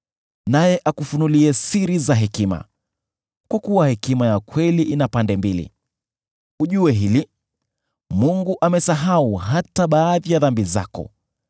naye akufunulie siri za hekima, kwa kuwa hekima ya kweli ina pande mbili. Ujue hili: Mungu amesahau hata baadhi ya dhambi zako.